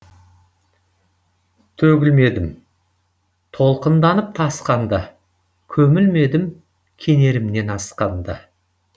төгілмедім толқынданып тасқанда көмілмедім кенерімнен асқанда